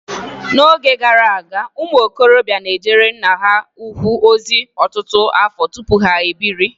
N'oge gara aga, ụmụ okorobịa na-ejere nna ha ukwu ozi ọtụtụ afọ tupu ha ebiri.